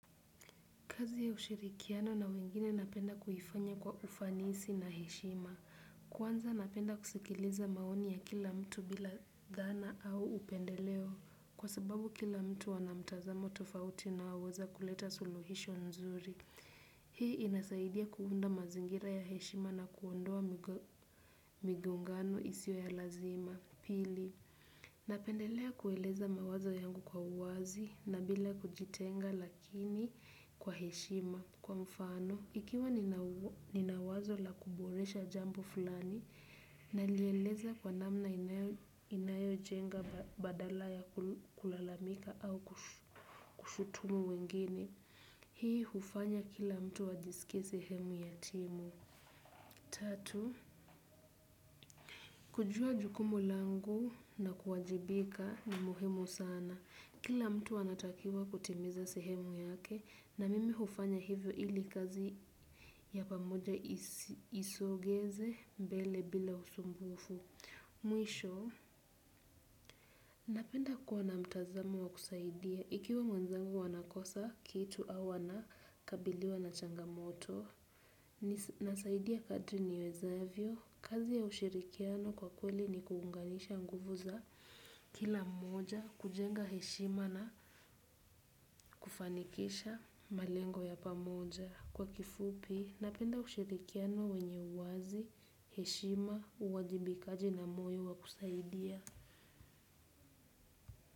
Kazi ya ushirikiano na wengine napenda kuifanya kwa ufanisi na heshima. Kwanza napenda kusikiliza maoni ya kila mtu bila dhana au upendeleo kwa sababu kila mtu ana mtazamo tofauti na uweza kuleta suluhisho nzuri. Hii inasaidia kuunda mazingira ya heshima na kuondoa migo, migongano isio ya lazima. Pili, napendelea kueleza mawazo yangu kwa uwazi na bila kujitenga lakini kwa heshima. Kwa mfano, ikiwa nina wa, nina wazo la kuboresha jambo fulani, nalieleza kwa namna inayo, inayojenga ba, badala ya kul, kulalamika au kush, kushutumu wengine, hii hufanya kila mtu ajisike sehemu ya timu. Tatu, kujua jukumu langu na kuwajibika ni muhimu sana. Kila mtu anatakiwa kutimiza sehemu yake na mimi hufanya hivyo ili kazi ya pamoja isi, isogeze mbele bila usumbufu. Mwisho, napenda kuwa na mtazamo wa kusaidia. Ikiwa mwenzangu anakosa kitu au anakabiliwa na changamoto. Nisi nasaidia kadri niwezavyo. Kazi ya ushirikiano kwa kweli ni kuunganisha nguvu za kila mmoja, kujenga heshima na kufanikisha malengo ya pamoja. Kwa kifupi, napenda ushirikiano wenye uwazi, heshima, uwajibikaji na moyo wa kusaidia.